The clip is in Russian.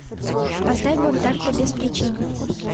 поставь бунтарка без причины